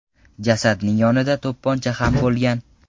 Jasadning yonida to‘pponcha ham bo‘lgan.